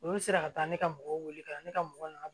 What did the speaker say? Olu sera ka taa ne ka mɔgɔw wele ka na ne ka mɔgɔw nana